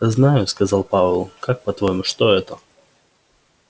знаю сказал пауэлл как по-твоему что это